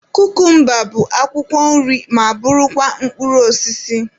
Kukumba bụ akwụkwọ nri ma bụrụkwa mkpụrụ osisi.